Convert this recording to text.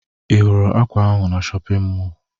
Ị hụrụ ákwà ahụ na shọpịn mọọ?